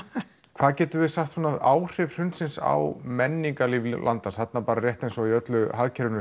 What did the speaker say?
hvað getum við sagt um áhrif hrunsins á menningarlíf landans þarna rétt eins og í hagkerfinu